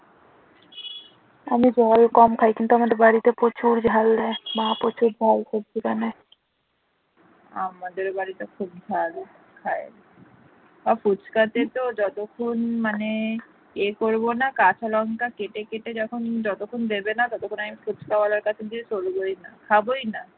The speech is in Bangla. ফুচকা তে তো যতক্ষণ মানে ইয়ে করবো না কাঁচা লঙ্কা কেটে কেটে যতক্ষণ দেবে না ততক্ষণ আমি ফুচকা ওয়ালার কাছ থেকে সরবোই না খাবই না।